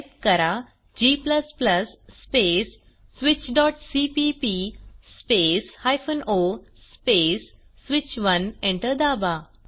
type करा g space switchसीपीपी space o space स्विच1 एंटर दाबा